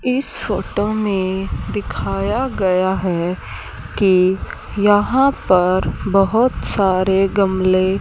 इस फोटो में दिखाया गया है कि यहां पर बहोत सारे गमले--